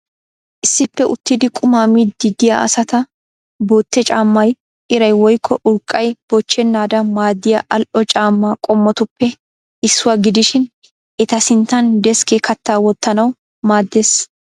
Issippe uttidi qumaa miiddi diya asata. Botte caammay iray woyikko urqqay bochchennaadan maaddiya al'o caamma qommotuppe issuwa gidishin eta sinttan deskkee kaattaa wottanawu maaddes.